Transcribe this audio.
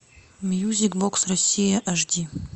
мьюзик бокс россия аш ди